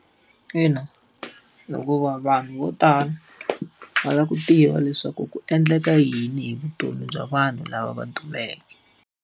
Ina, hikuva vanhu vo tala, va lava ku tiva leswaku ku endleka yini hi vutomi bya vanhu lava va dumeke.